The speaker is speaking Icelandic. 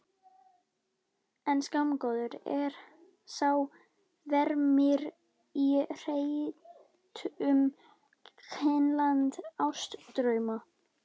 En skammgóður er sá vermir í hretum kulnandi ástardrauma.